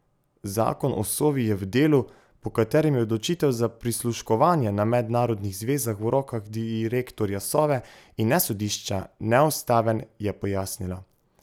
Zakon o Sovi je v delu, po katerem je odločitev za prisluškovanje na mednarodnih zvezah v rokah direktorja Sove, in ne sodišča, neustaven, je pojasnila.